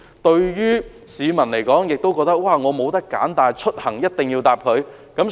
對市民來說，他們也沒有選擇，因為他們出行一定要乘搭港鐵。